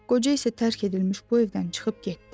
Qoca isə tərk edilmiş bu evdən çıxıb getdi.